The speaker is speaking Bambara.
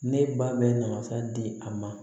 Ne ba bɛ na masa di a ma